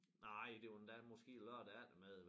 Nej det var endda måske lørdag eftermiddag